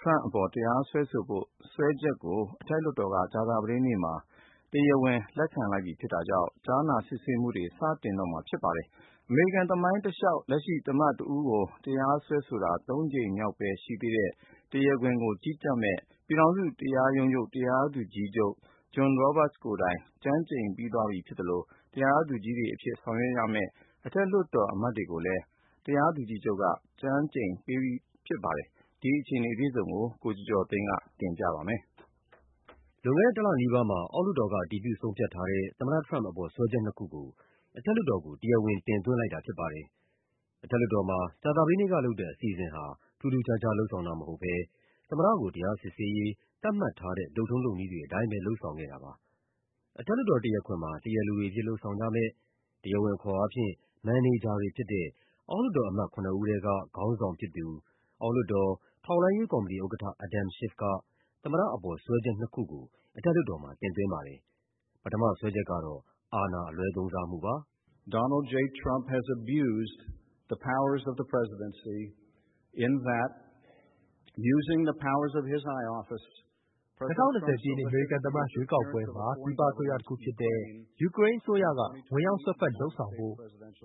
ထရမ့်အပေါ် တရားစွဲဆိုဖို့ စွဲချက်တွေကို အထက်လွှတ်တော်က ကြာသပတေးနေ့မှာ တရား ဝင်လက်ခံလိုက်ပြီဖြစ်တာကြောင့် ကြားနာစစ်ဆေးမှုကို စတင်တော့မှာဖြစ်ပါတယ်။ အမေရိကန်သမိုင်းတလျှောက် လက်ရှိ သမ္မတတဦးကို တရားစွဲဆိုတာ သုံးကြိမ်မြောက်ပဲရှိသေးတဲ့ တရားခွင်ကို ကြီးကြပ်မယ့် ပြည်ထောင်စု တရားရုံးချုပ် တရားသူကြီး ချုပ် John Roberts ကိုယ်တိုင် ကျမ်းကျိန်ပြီးသွားပြီဖြစ်သလို တရားသူကြီးတွေအဖြစ် ဆောင်ရွက်ရမယ့် အထက်လွှတ်တော် အမတ်တွေကိုလည်း တရားသူကြီးချုပ်က ကျမ်းကျိန်ပေးပြီးသွားပါပြီ။ ဒီအခြေအနေအပြည့်အစုံကို ကိုကျော်ကျော်သိန်းက ပြောပြပါမယ်။ လွန်ခဲ့တဲ့တလနီးပါးမှာ အောက်လွှတ်တော်က အတည်ပြု ဆုံးဖြတ်ထားတဲ့ သမ္မတထရမ့်ပ်အပေါ် စွဲချက်နှစ်ခုကို အထက် လွှတ်တော်ကို တရားဝင် တင်သွင်းလိုက်တာဖြစ်ပါတယ်။ အထက်လွှတ်တော်မှာ ကြာသပတေးနေ့ကလုပ်တဲ့ အစီအစဉ်ဟာ ထူးထူးခြားခြား လုပ်ဆောင်တာမဟုတ်ဘဲ သမ္မတကို တရား စစ်ဆေးရေး သတ်မှတ်ထားတဲ့ လုပ်ထုံးလုပ်နည်းတွေအတိုင်းပဲ လုပ်ဆောင်ခဲ့တာပါ။ အထက်လွှတ်တော် တရားခွင်မှာ တရားလိုတွေအဖြစ် လုပ်ဆောင်ကြမယ့်၊ တရားဝင်အခေါ်အားဖြင့် မန်နေဂျာတွေဖြစ်တဲ့ အောက်လွှတ်တော်အမတ် ခုနစ်ဦးထဲက ခေါင်းဆောင်ဖြစ်သူ အောက်လွှတ်တော်၊ ထောက်လှမ်းရေးကော်မတီဥက္ကဋ္ဌ Adam Schiff က သမ္မတအပေါ် စွဲချက်နှစ်ခုကို အထက် လွှတ်တော်မှာ တင်သွင်းပါတယ်။ ပထမစွဲချက်ကတော့ အာဏာအလွဲသုံးစား မှုပါ။ “၂၀၂၀ ပြည့်နှစ် အမေရိကန် သမ္မတရွေးကောက်ပွဲမှာ ပြည်ပအစိုးရတခုဖြစ်တဲ့ ယူကရိန်းအစိုးရက ဝင်ရောက် စွက်ဖက် လုပ်ဆောင်ပေးဖို့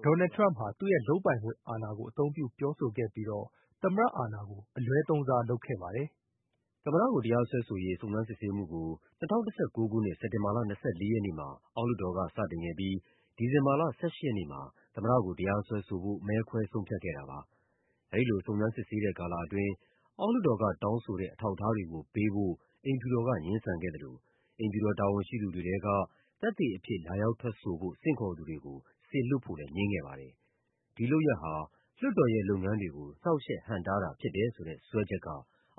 Donald J. Trump ဟာ သူ့ရဲ့ လုပ်ပိုင်ခွင့်အာဏာကို အသုံးပြု ပြောဆိုပြီးတော့ သမ္မတအာဏာကို အလွဲသုံးစားလုပ်ခဲ့ပါတယ်။” သမ္မတကို တရားစွဲဆိုရေး စုံစမ်းစစ်ဆေးမှုကို ၂၀၁၉ ခုနှစ်၊ စက်တင်ဘာလ ၂၄ ရက်နေ့မှာ အောက်လွှတ်တော်က စတင်ခဲ့ပြီး ဒီဇင်ဘာလ ၁၈ ရက်နေ့မှာ သမ္မတကို တရားစွဲဆိုဖို့ မဲခွဲဆုံးဖြတ်ခဲ့တာပါ။ အဲဒီလို စုံစမ်းစစ်ဆေးတဲ့ကာလအတွင်း အောက် လွှတ်တော်ကတောင်းဆိုတဲ့ အထောက်အထားတွေကိုပေးဖို့ အိမ်ဖြူတော်က ငြင်းဆိုခဲ့သလို အိမ်ဖြူတော်တာဝန်ရှိသူတွေထဲက သက်သေအဖြစ် လာရောက်ထွက်ဆိုဖို့ ဆင့်ခေါ်သူတွေကို စေလွှတ်ဖို့လည်း ငြင်းခဲ့ပါတယ်။ ဒီလုပ်ရပ်ဟာ လွှတ်တော်ရဲ့လုပ်ငန်းတွေကို နှောင့်ယှက်ဟန့်တားတာဖြစ်တယ်ဆိုတဲ့ စွဲချက်က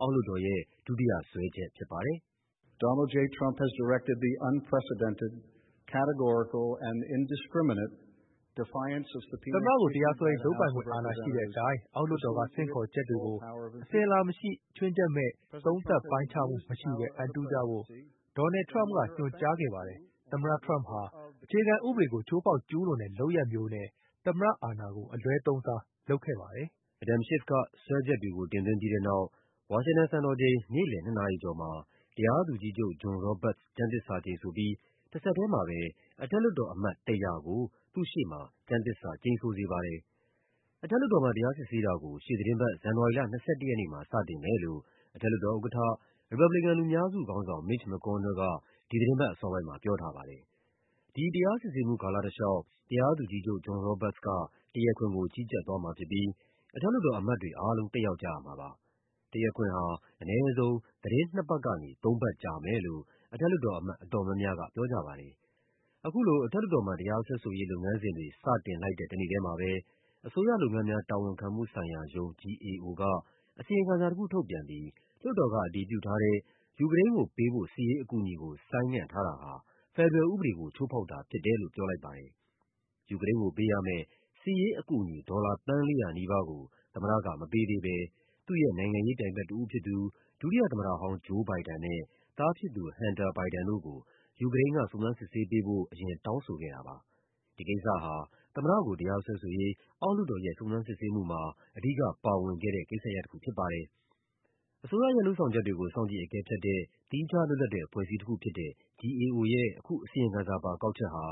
အောက်လွှတ်တော်ရဲ့ ဒုတိယ စွဲချက်ဖြစ်ပါတယ်။ “သမ္မတကို တရားစွဲဆိုရေး လုပ်ပိုင်ခွင့်အာဏာရှိတဲ့အတိုင်း အောက်လွှတ်တော်က ဆင့်ခေါ်ချက်တွေကို အစဉ် အလာမရှိ၊ ခြွင်းချက်မဲ့၊ သုံးသပ်ပိုင်းခြားမှုမရှိဘဲ အံတုကြဖို့ Donald J. Trump က ညွှန်ကြားခဲ့ပါတယ်။ သမ္မတထရမ့်ပ်ဟာ အခြေခံဥပဒေကို ချိုးဖောက် ကျူးလွန်တဲ့ လုပ်ရပ်မျိုးနဲ့ သမ္မတအာဏာကို အလွဲသုံးစားလုပ်ခဲ့ပါတယ်။” Adam Schiff က စွဲချက်တွေကို တင်သွင်းပြီးတဲ့နောက် ဝါရှင်တန်စံတော်ချိန် နေ့လည် ၂ နာရီကျော်မှာ တရားသူကြီးချုပ် John Roberts ကျမ်းသစ္စာကျိန်ဆိုပြီး တဆက်ထဲမှာပဲ အထက်လွှတ်တော်အမတ် ၁၀၀ ကို သူ့ရှေ့မှာ ကျမ်းသစ္စာကျိန်ဆိုစေပါတယ်။ အထက်လွှတ်တော်မှာ တရားစစ်ဆေးတာကို ရှေ့သီတင်းပတ် ဇန်နဝါရီလ ၂၁ ရက်မှာ စတင်မယ်လို့ အထက်လွှတ်တော်ဥက္ကဋ္ဌ ရီပတ်ဘလီကန် လူများစုခေါင်းဆောင် Mitch McConnell က ဒီသီတင်းပတ်အစောပိုင်းမှာ ပြောထားပါတယ်။ ဒီတရားစစ်ဆေးမှု ကာလတလျှောက် တရားသူကြီးချုပ် John Roberts က တရားခွင်ကို ကြီးကြပ်သွားမှာဖြစ်ပြီး အထက် လွှတ်တော်အမတ်တွေအားလုံး တက်ရောက်ကြရမှာပါ။ တရားခွင်ဟာ အနည်းဆုံး သီတင်း နှစ်ပတ်ကနေ သုံးပတ် ကြာမယ်လို့ အထက်လွှတ်တော်အမတ် အတော်များများက ပြောကြပါတယ်။ အခုလို အထက်လွှတ်တော်မှာ တရားစွဲဆိုရေး လုပ်ငန်းစဉ်တွေ စတင်လိုက်တဲ့ တနေ့ထဲမှာပဲ အစိုးရလုပ်ငန်းများ တာဝန်ခံမှု ဆိုင်ရာရုံး (GAO) က အစီရင်ခံစာတခုထုတ်ပြန်ပြီး လွှတ်တော်ကအတည်ပြုထားတဲ့ ယူကရိန်းကိုပေးဖို့ စစ်ရေးအကူအညီကို ဆိုင်းငံ့ထားတာဟာ ဖက်ဒရယ်ဥပဒေကို ချိုးဖောက်တာဖြစ်တယ်လို့ ပြောလိုက်ပါတယ်။ ယူကရိန်းကိုပေးရမယ့် စစ်ရေးအကူအညီ ဒေါ်လာ သန်း ၄၀၀ နီးပါးကို သမ္မတကမပေးသေးဘဲ သူ့ရဲ့နိုင်ငံရေးပြိုင်ဘက်တဦး ဖြစ်သူ ဒုတိယသမ္မတဟောင်း Joe Biden နဲ့ သားဖြစ်သူ Hunter Biden တို့ကို ယူကရိန်းက စုံစမ်းစစ်ဆေးပေးဖို့ အရင် တောင်းဆိုခဲ့တာပါ။ ဒီကိစ္စဟာ သမ္မတကို တရားစွဲဆိုရေး အောက်လွှတ်တော်ရဲ့ စုံစမ်းစစ်ဆေးမှုမှာ အဓိကပါဝင်ခဲ့တဲ့ ကိစ္စရပ်တခု ဖြစ်ပါတယ်။ အစိုးရရဲ့လုပ်ဆောင်ချက်တွေကို စောင့်ကြည့်အကဲဖြတ်တဲ့ သီးခြားလွတ်လပ်တဲ့ အဖွဲ့အစည်းတခုဖြစ်တဲ့ GAO ရဲ့ အခု အစီရင် ခံစာပါ ကောက်ချက်ဟာ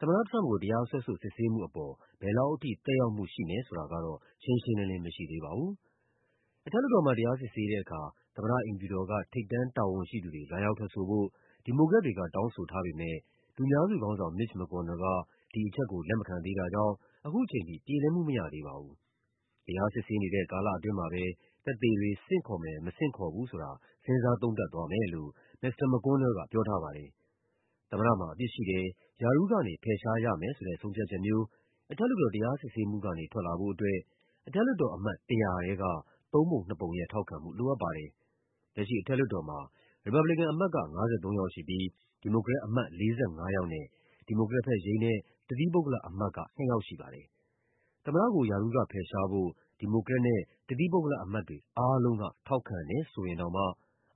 သမ္မတထရမ့်ပ်ကို တရားစွဲဆိုစစ်ဆေးမှုပေါ် ဘယ်လောက်ထိ သက်ရောက်မှုရှိမယ်ဆိုတာကတော့ ရှင်းရှင်းလင်းလင်း မရှိသေးပါဘူး။ အထက်လွှတ်တော်မှာ တရားစစ်ဆေးတဲ့အခါ သမ္မတအိမ်ဖြူတော်က ထိပ်တန်းတာဝန်ရှိသူတွေ လာရောက်ထွက်ဆိုဖို့ ဒီမိုကရက် တွေက တောင်းဆိုထားပေမယ့် လူများစုခေါင်းဆောင် Mitch McConnell က ဒီအချက်ကို လက်မခံသေးတာကြောင့် ခုချိန်ထိ ပြေလည်မှုမရသေးပါဘူး။ တရားစစ်ဆေးနေတဲ့ ကာလအတွင်းမှာပဲ သက်သေတွေ ဆင့်ခေါ်မယ် မဆင့်ခေါ်ဘူးဆိုတာ စဉ်းစားသုံးသပ်သွားမယ်လို့ မစ္စတာ McConnell က ပြောထားပါတယ်။ သမ္မတမှာအပြစ်ရှိတယ်၊ ရာထူးကနေဖယ်ရှားရမယ်ဆိုတဲ့ ဆုံးဖြတ်ချက်မျိုး အထက်လွှတ်တော် တရားစစ်ဆေးမှုကနေ ထွက်လာ ဖို့အတွက် အထက်လွှတ်တော်အမတ် ၁၀၀ ထဲက သုံးပုံနှစ်ပုံရဲ့ထောက်ခံမှု လိုအပ်ပါတယ်။ လက်ရှိအထက်လွှတ်တော်မှာ ရီပတ်ဘလီကန်အမတ်က ၅၃ ယောက်ရှိပြီး ဒီမိုကရက်အမတ် ၄၅ ယောက်နဲ့ ဒီမိုကရက်ဘက် ယိမ်းတဲ့ တသီးပုဂ္ဂလအမတ်က ၂ ယောက်ရှိပါတယ်။ သမ္မတကို ရာထူးကဖယ်ရှားဖို့ ဒီမိုကရက်နဲ့ တသီးပုဂ္ဂလအမတ်တွေ အားလုံးက ထောက်ခံတယ်ဆိုရင်တောင်မှ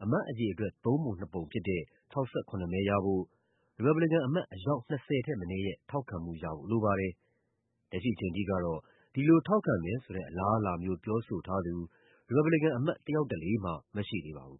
အမတ်အရေအတွက် သုံးပုံနှစ်ပုံဖြစ်တဲ့ ၆၇ မဲရဖို့ ရီပတ်ဘလီကန်အမတ် အယောက် ၂၀ ထက်မနည်းရဲ့ ထောက်ခံမှုရဖို့လိုပါတယ်။ လက်ရှိအချိန်ထိကတော့ ဒီလိုထောက်ခံမယ်ဆိုတဲ့ အလားအလာမျိုး ပြောဆိုထားသူ ရီပတ်ဘလီကန်အမတ် တယောက်တလေ မှ မရှိသေးပါဘူး